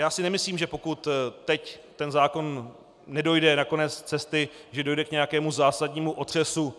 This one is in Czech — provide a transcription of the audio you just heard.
Já si nemyslím, že pokud teď ten zákon nedojde na konec cesty, že dojde k nějakému zásadnímu otřesu